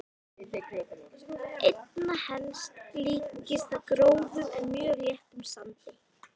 Einna helst líktist það grófum en mjög léttum sandi.